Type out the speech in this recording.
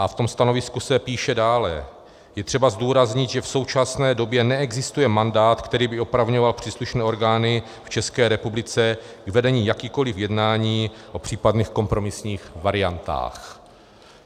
A v tom stanovisku se píše dále: Je třeba zdůraznit, že v současné době neexistuje mandát, který by opravňoval příslušné orgány v České republice k vedení jakýchkoliv jednání o případných kompromisních variantách.